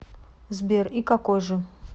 сбер и какой же